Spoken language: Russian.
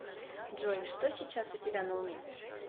джой что сейчас у тебя на уме